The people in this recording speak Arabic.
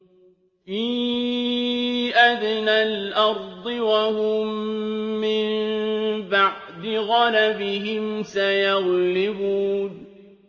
فِي أَدْنَى الْأَرْضِ وَهُم مِّن بَعْدِ غَلَبِهِمْ سَيَغْلِبُونَ